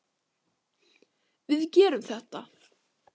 Við getum þetta.